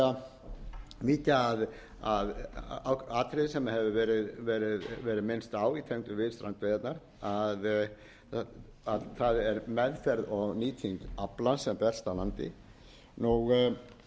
að atriði sem hefur verið minnst á í tengslum við strandveiðarnar að það er meðferð og nýting aflans sem berst að landi